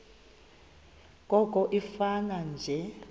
koko ifane nje